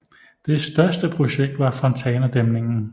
Det største projekt var Fontana dæmningen